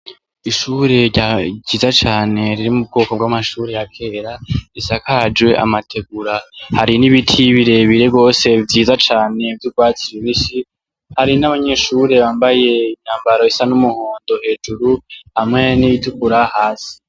Ishure ryiza cane riri mu bwoko bw'amashure ya kera risakajwe amategura. Hari n'ibiti birebire gose vyiza cane vy'ugwatsi rubisi. Hari n'abanyeshure bambaye imyambaro isa n'umuhondo hejuru hamwe n'iyitukura hasi.